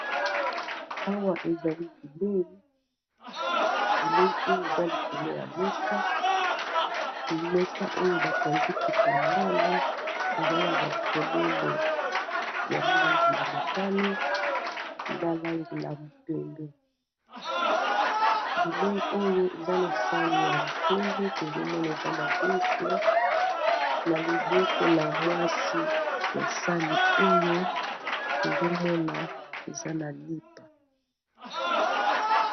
Awa ezali bilei bilei oyo eza likolo ya mesa mesa oyo batandi kitambala eza na bafololo ya lange la motani, na langi la mpende bilei oyo eza na sani ya mpende tozomona eza madeso na loboko la mwasi ya sani oyo tozomona eza na lipa.